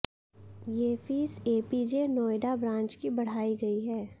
ये fees APJ Noida branch की बढ़ाई गई है